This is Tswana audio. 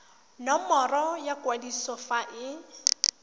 nomoro ya kwadiso fa e